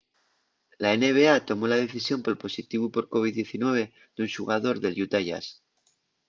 la nba tomó la decisión pol positivu por covid-19 d'un xugador del utah jazz